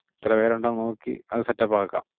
എത്ര പേരുണ്ടെന്ന് നോക്കി അത് set up ആക്കാം.